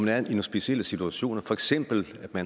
er i en speciel situation som for eksempel at